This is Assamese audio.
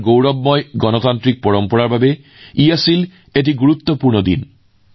আমাৰ গৌৰৱময় গণতান্ত্ৰিক পৰম্পৰাৰ বাবে এইটো এটা গুৰুত্বপূৰ্ণ দিন